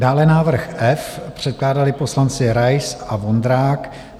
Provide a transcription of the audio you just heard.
Dále návrh F, předkládali poslanci Rais a Vondrák.